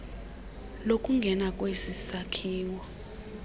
lokungena kwesi sakhiwo